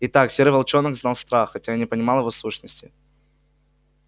итак серый волчонок знал страх хотя и не понимал его сущности